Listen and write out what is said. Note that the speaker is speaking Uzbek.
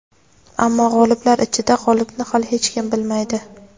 Ammo g‘oliblar ichida g‘olibni hali hech kim bilmaydi.